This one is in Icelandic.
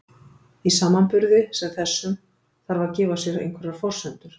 Í samanburði sem þessum þarf að gefa sér einhverjar forsendur.